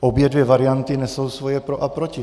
Obě dvě varianty nesou svoje pro a proti.